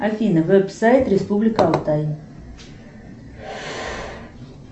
афина веб сайт республика алтай